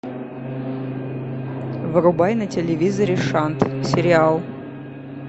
врубай на телевизоре шант сериал